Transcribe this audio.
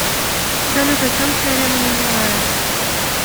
салют о чем теорема менелая